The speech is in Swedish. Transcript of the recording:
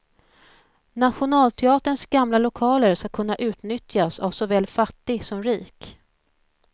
Nationalteaterns gamla lokaler ska kunna utnyttjas av såväl fattig som rik.